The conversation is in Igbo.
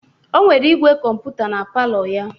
O nwere igwe kọmputa na palọ ya.